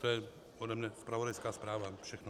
To je ode mě zpravodajská zpráva, všechno.